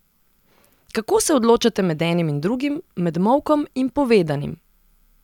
Kako se odločate med enim in drugim, med molkom in povedanim?